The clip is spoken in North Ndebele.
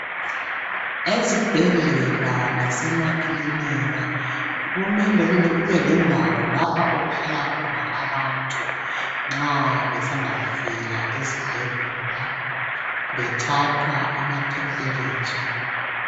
Ezibhedlela lasemakhilinika kumele kube lendawo lapha okuhlala khona abantu .Nxa besanda kufika esibhedlela bethathwa ama temperature.